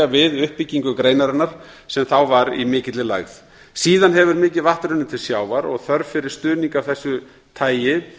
við uppbyggingu greinarinnar sem þá var í mikilli lægð síðan hefur mikið vatn runnið til sjávar og þörf fyrir stuðning af þessu tagi